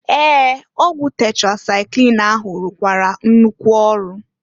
Ee! Ọgwụ tetrasaịklin ahụ rụkwara nnukwu ọrụ.